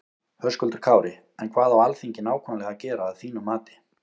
Höskuldur Kári: En hvað á Alþingi nákvæmlega að gera að þínum mati?